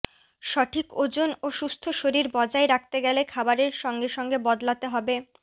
সঠিক ওজন ও সুস্থ শরীর বজায় রাখতে গেলে খাবারের সঙ্গে সঙ্গে বদলাতে হবে